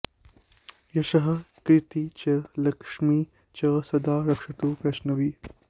यशः कीर्तिं च लक्ष्मीं च सदा रक्षतु वैष्णवी